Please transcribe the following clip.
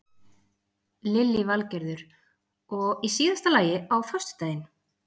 Lillý Valgerður: Og í síðasta lagi á föstudaginn?